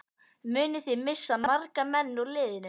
Munið þið missa marga menn úr liðinu?